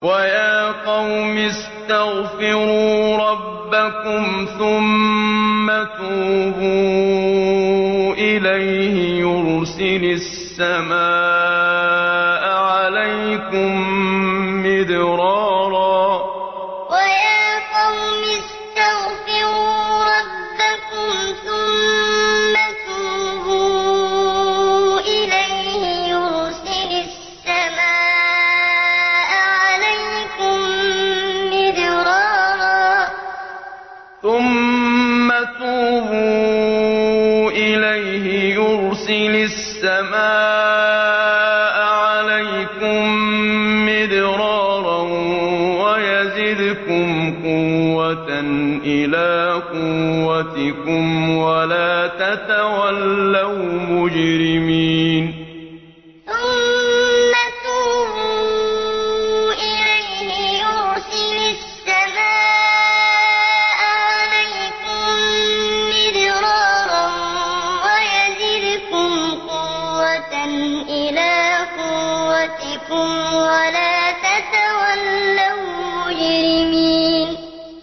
وَيَا قَوْمِ اسْتَغْفِرُوا رَبَّكُمْ ثُمَّ تُوبُوا إِلَيْهِ يُرْسِلِ السَّمَاءَ عَلَيْكُم مِّدْرَارًا وَيَزِدْكُمْ قُوَّةً إِلَىٰ قُوَّتِكُمْ وَلَا تَتَوَلَّوْا مُجْرِمِينَ وَيَا قَوْمِ اسْتَغْفِرُوا رَبَّكُمْ ثُمَّ تُوبُوا إِلَيْهِ يُرْسِلِ السَّمَاءَ عَلَيْكُم مِّدْرَارًا وَيَزِدْكُمْ قُوَّةً إِلَىٰ قُوَّتِكُمْ وَلَا تَتَوَلَّوْا مُجْرِمِينَ